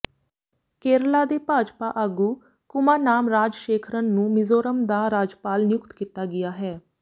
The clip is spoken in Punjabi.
ਕੇਰਲਾ ਦੇ ਭਾਜਪਾ ਆਗੂ ਕੁਮਾਨਾਮ ਰਾਜਸ਼ੇਖਰਨ ਨੂੰ ਮਿਜ਼ੋਰਮ ਦਾ ਰਾਜਪਾਲ ਨਿਯੁਕਤ ਕੀਤਾ ਗਿਆ ਹੈ